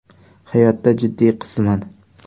Hayotda jiddiy qizman.